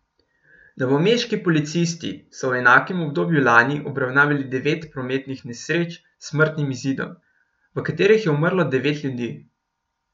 Novomeški policisti so v enakem obdobju lani obravnavali devet prometnih nesreč s smrtnim izidom, v katerih je umrlo devet ljudi.